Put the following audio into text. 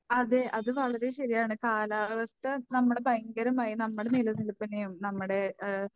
അതെ അത് വളരെ ശരിയാണ് കാലാവസ്ഥ നമ്മളെ ഭയങ്കരമായി നമ്മുടെ നിലനിൽപ്പിനെയും നമ്മുടെ ഏഹ്